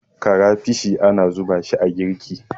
karafishi ana zuba shi a girki